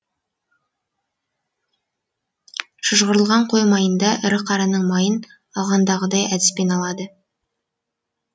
шыжғырылған қой майында ірі қараның майын алғандағыдай әдіспен алады